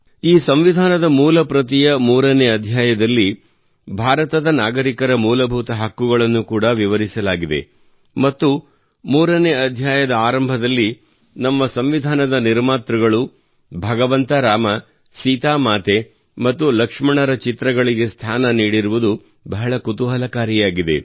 ಈ ಸಂವಿಧಾನದ ಮೂಲ ಪ್ರತಿಯ ಮೂರನೇ ಅಧ್ಯಾಯದಲ್ಲಿ ಭಾರತದ ನಾಗರಿಕರ ಮೂಲಭೂತ ಹಕ್ಕುಗಳನ್ನು ಕೂಡಾ ವಿವರಿಸಲಾಗಿದೆ ಮತ್ತು ಮೂರನೇ ಅಧ್ಯಾಯದ ಆರಂಭದಲ್ಲಿ ನಮ್ಮ ಸಂವಿಧಾನದ ನಿರ್ಮಾತೃಗಳು ಭಗವಂತ ರಾಮ ಸೀತಾ ಮಾತೆ ಮತ್ತು ಲಕ್ಷ್ಮಣರ ಚಿತ್ರಗಳಿಗೆ ಸ್ಥಾನ ನೀಡಿರುವುದು ಬಹಳ ಕುತೂಹಲಕಾರಿಯಾಗಿದೆ